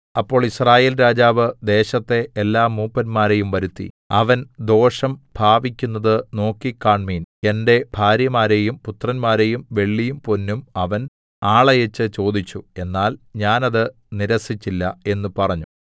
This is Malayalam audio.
അപ്പോൾ യിസ്രായേൽ രാജാവ് ദേശത്തെ എല്ലാ മൂപ്പന്മാരെയും വരുത്തി അവൻ ദോഷം ഭാവിക്കുന്നത് നോക്കിക്കാണ്മിൻ എന്റെ ഭാര്യമാരെയും പുത്രന്മാരെയും വെള്ളിയും പൊന്നും അവൻ ആളയച്ച് ചോദിച്ചു എന്നാൽ ഞാൻ അത് നിരസ്സിച്ചില്ല എന്ന് പറഞ്ഞു